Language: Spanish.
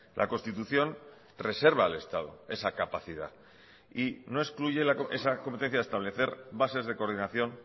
la constitución reserva al estado esa capacidad y no excluye esa competencia de establecer bases de coordinación